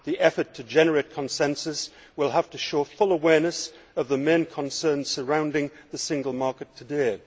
The effort to generate consensus will have to show full awareness of the main concerns surrounding the single market today'.